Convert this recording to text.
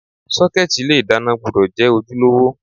Sọ́kẹ́tì ilé ìdáná gbúdọ̀ jẹ́ ojúlówó.